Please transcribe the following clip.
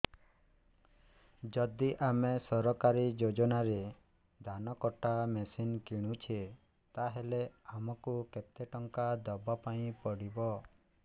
ଯଦି ଆମେ ସରକାରୀ ଯୋଜନାରେ ଧାନ କଟା ମେସିନ୍ କିଣୁଛେ ତାହାଲେ ଆମକୁ କେତେ ଟଙ୍କା ଦବାପାଇଁ ପଡିବ